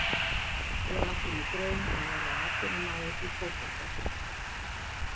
Ég átti mér draum að verða atvinnumaður í fótbolta.